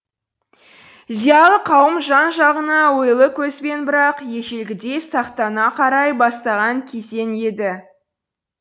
зиялы қауым жан жағына ойлы көзбен бірақ ежелгідей сақтана қарай бастаған кезең еді